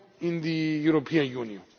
in the European Union.